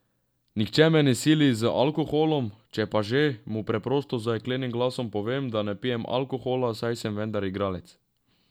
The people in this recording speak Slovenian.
Nihče me ne sili z alkoholom, če pa že, mu preprosto z jeklenim glasom povem, da ne pijem alkohola, saj sem vendar igralec.